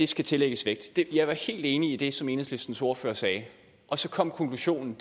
skal tillægges vægt jeg var helt enig i det som enhedslistens ordfører sagde og så kom konklusionen